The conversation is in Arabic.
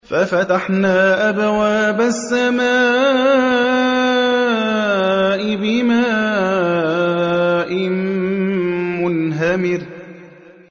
فَفَتَحْنَا أَبْوَابَ السَّمَاءِ بِمَاءٍ مُّنْهَمِرٍ